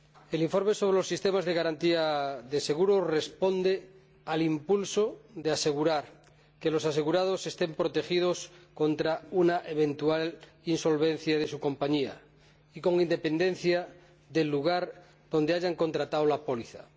El informe sobre los sistemas de garantía de seguros responde al impulso de asegurar que los asegurados estén protegidos contra una eventual insolvencia de su compañía, con independencia del lugar donde hayan contratado la póliza.